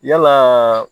Yalaa